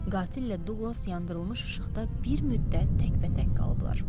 Qatillə Duqlas yandırılmış işıqda bir müddət təkbətək qalıblar.